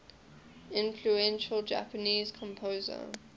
influential japanese composer